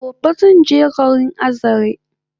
Gobe zanje garin Azare